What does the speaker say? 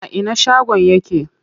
A ina shagon yake?